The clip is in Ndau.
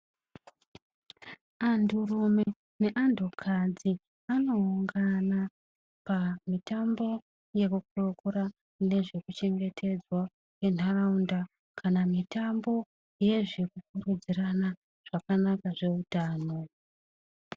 Anturume neantukadzi anoungana pamitambo yekukurukura nezve kuchengetedzwa kwentaraunda kana mitambo yezvekukurudzirana zvakanaka kweutano.